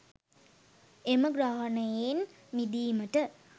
එම ග්‍රහණයෙන් මිදීමට